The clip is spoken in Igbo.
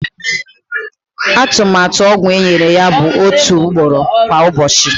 Atụmatụ ọgwụ enyere ya bụ otu ugboro kwa ụbọchị.